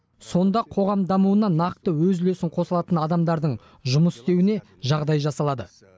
сонда қоғам дамуына нақты өз үлесін қоса алатын адамдардың жұмыс істеуіне жағдай жасалады